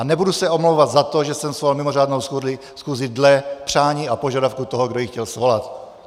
A nebudu se omlouvat za to, že jsem svolal mimořádnou schůzi podle přání a požadavku toho, kdo ji chtěl svolat.